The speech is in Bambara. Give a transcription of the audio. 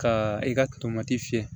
Ka i ka tomati fiyɛ